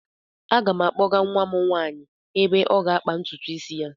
Aga m akpọga nwa m nwaanyị ebe ọ ga-akpa ntutu isi ya.